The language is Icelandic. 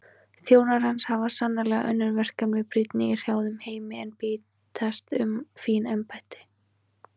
Þjónar hans hafa sannarlega önnur verkefni brýnni í hrjáðum heimi en bítast um fín embætti.